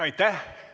Aitäh!